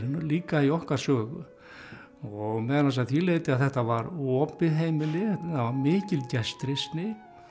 líka í okkar sögu og meðal annars að því leyti að þetta var opið heimili það var mikil gestrisni